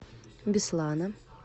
беслана